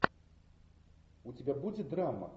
у тебя будет драма